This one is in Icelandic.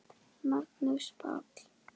Magnús Páll.